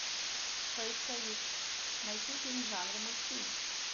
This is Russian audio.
поисковик найти фильм в жанре мультфильм